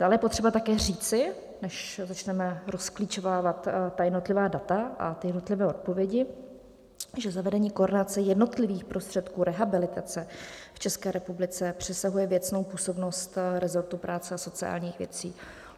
Dále je potřeba také říci, než začneme rozklíčovávat jednotlivá data a jednotlivé odpovědi, že zavedení koordinace jednotlivých prostředků rehabilitace v České republice přesahuje věcnou působnost resortu práce a sociálních věcí.